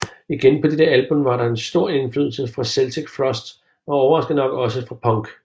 Igen på dette album var der en stor indflydelse fra Celtic Frost og overraskende nok også fra punk